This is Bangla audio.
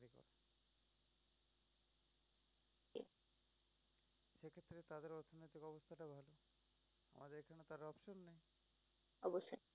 অবশ্যই।